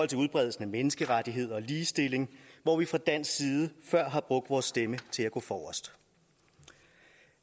til udbredelsen af menneskerettigheder og ligestilling hvor vi fra dansk side før har brugt vores stemme til at gå forrest